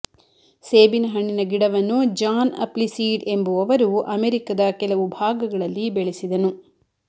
ಸೇಬಿನ ಹಣ್ಣಿನ ಗಿಡವನ್ನು ಜಾನ್ ಅಪ್ಲಿಸೀಡ್ ಎಂಬುವವರು ಅಮೆರಿಕದ ಕೆಲವು ಭಾಗಗಳಲ್ಲಿ ಬೆಳೆಸಿದನು